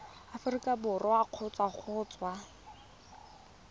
aforika borwa kgotsa go tswa